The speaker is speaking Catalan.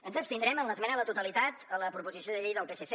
ens abstindrem en l’esmena a la totalitat a la proposició de llei del psc